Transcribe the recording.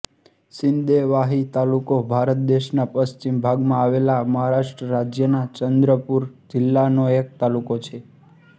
સિંદેવાહી તાલુકો ભારત દેશના પશ્ચિમ ભાગમાં આવેલા મહારાષ્ટ્ર રાજ્યના ચંદ્રપૂર જિલ્લાનો એક તાલુકો છે